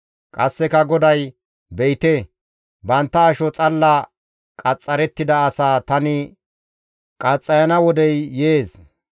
Qasseka GODAY, «Be7ite, bantta asho xalla qaxxarettida asaa tani qaxxayana wodey yees.